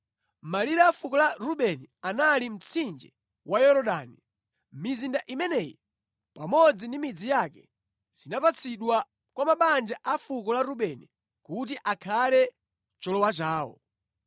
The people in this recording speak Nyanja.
Malire a fuko la Rubeni anali mtsinje wa Yorodani. Mizinda imeneyi pamodzi ndi midzi yake zinapatsidwa kwa mabanja a fuko la Rubeni kuti akhale cholowa chawo.